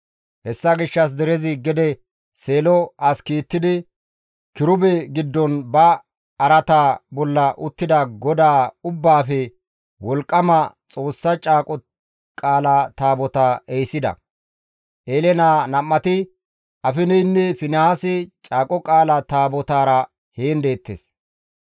Hessa gishshas derezi gede Seelo as kiittidi, kirube giddon ba araata bolla uttida GODAA Ubbaafe Wolqqama Xoossaa Caaqo Qaala Taabotaa ehisida. Eele naa nam7ati Afineynne Finihaasi Caaqo Qaala Taabotara heen deettes.